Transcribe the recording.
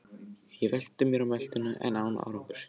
Ég velti mér á meltuna en án árangurs.